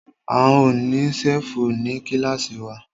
A ó ní ṣẹ́fù ní kílàsì wa.